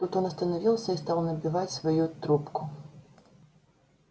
тут он остановился и стал набивать свою трубку